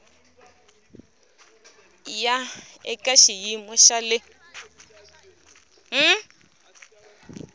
ya eka xiyimo xa le